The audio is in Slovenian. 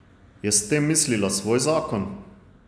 Je s tem mislila svoj zakon?